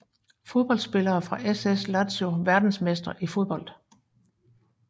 Fodboldspillere fra SS Lazio Verdensmestre i fodbold